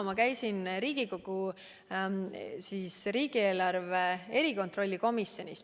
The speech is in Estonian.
Ma käisin Riigikogu riigieelarve erikontrolli komisjonis.